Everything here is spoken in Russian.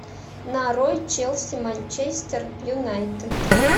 нарой челси манчестер юнайтед